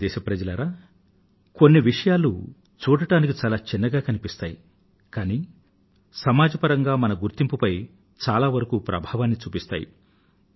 ప్రియమైన నా దేశ వాసులారా కొన్ని విషయాలు చూడటానికి చాలా చిన్నగా కనిపిస్తాయి కానీ సమాజపరంగా మన గుర్తింపు పై చాలావరకూ ప్రభావాన్ని చూపిస్తాయి